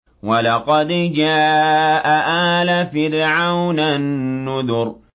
وَلَقَدْ جَاءَ آلَ فِرْعَوْنَ النُّذُرُ